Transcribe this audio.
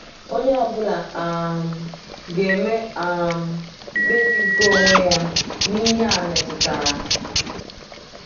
Onye ọ bụla um ga-eme um mkpebi nke onwe ya n’ihe a metụtara.